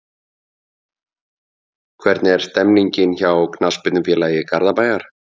Hvernig er stemningin hjá Knattspyrnufélagi Garðabæjar?